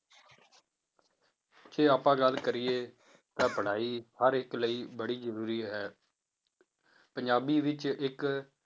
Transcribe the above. ਜੇ ਆਪਾਂ ਗੱਲ ਕਰੀਏ ਤਾਂ ਪੜ੍ਹਾਈ ਹਰ ਇੱਕ ਲਈ ਬੜੀ ਜ਼ਰੂਰੀ ਹੈ ਪੰਜਾਬੀ ਵਿੱਚ ਇੱਕ